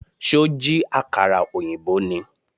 Ṣó jí àkàrà ọ̀yìnbó ni?